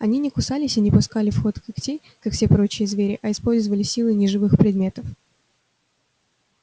они не кусались и не пускали в ход когтей как все прочие звери а использовали силы неживых предметов